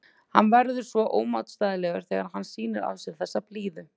Hann verður svo ómótstæðilegur þegar hann sýnir af sér þessa blíðu.